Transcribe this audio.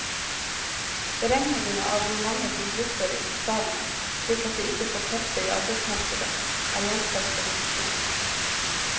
Beregningene av hvor mange som butter i bokstavene, slik at de ikke får feste i arbeidsmarkedet, er gjenstand for diskusjon.